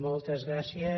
moltes gràcies